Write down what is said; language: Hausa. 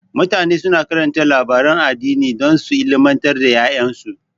Mutane suna karanta labaran addini don su ilmantar da ƴaƴansu.